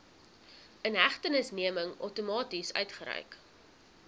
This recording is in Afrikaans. inhegtenisneming outomaties uitgereik